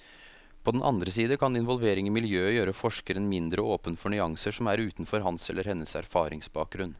På den andre side kan involvering i miljøet gjøre forskeren mindre åpen for nyanser som er utenfor hans eller hennes erfaringsbakgrunn.